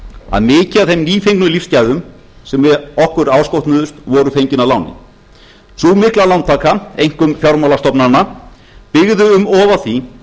að mikið af þeim nýfengnu lífsgæðum sem okkur áskotnuðust væru fengin að láni sú mikla lántaka einkum fjármálastofnana byggði um og á því